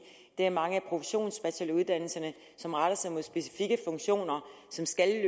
der er mange af professionsbacheloruddannelserne som retter sig mod specifikke funktioner som skal